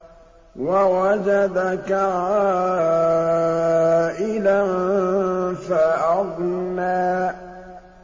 وَوَجَدَكَ عَائِلًا فَأَغْنَىٰ